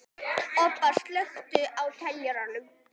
Obba, slökktu á niðurteljaranum.